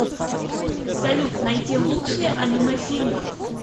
салют найти лучшие аниме фильмы